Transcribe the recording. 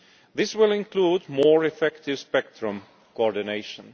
This will include more effective spectrum coordination.